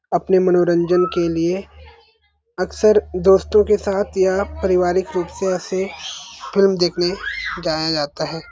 अपने मनोरंजन के लिए अक्सर दोस्तों के साथ या पारिवारिक रूप से ऐसे फ़िल्म देखने जाया जाता हैं।